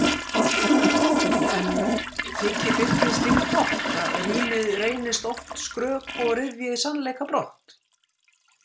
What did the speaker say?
En þykir Birni slíkt gott, að rímið reynist oft skrök og ryðji sannleika brott?